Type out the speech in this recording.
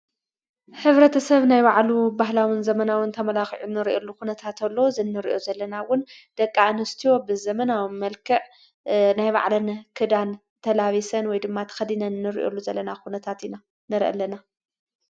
ኅብረተ ሰብ ናይ ባዕሉ ባሕላሙን ዘመናውን ተመላኽዑ ንርእየሉ ዂነታእተሎ ዝነርእዮ ዘለናውን ደቃ እንስትዎብ ዘመናዊ መልክዕ ናይ ባዕለነ ክዳን ተላቢሰን ወይ ድማ ተኸዲነን እንርእኦሉ ዘለና ኹነታት ኢና ነረ ኣለና።